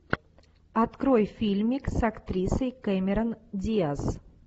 открой фильмик с актрисой кэмерон диаз